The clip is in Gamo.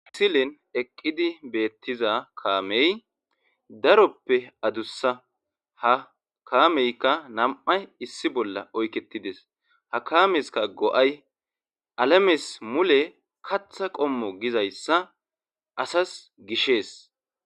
Asilen eqqidi beettiza kaamey daroppe adussa ha kaameykka nam7ay issi bolla oykketides ha kaameska go7ay alamis mule katha qommo gizayssa asas gishees